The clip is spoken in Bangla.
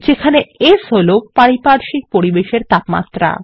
যেখানে S হল পারিপার্শ্বিক পরিবেশের তাপমাত্রা